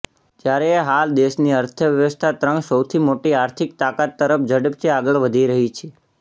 જ્યારે હાલ દેશની અર્થવ્યવસ્થા ત્રણ સૌથી મોટી આર્થિક તાકાત તરફ ઝડપથી આગળ વધી રહી છે